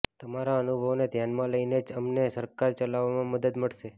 તમારા અનુભવોને ધ્યાનમાં લઈને જ અમને સરકાર ચલાવવામાં મદદ મળશે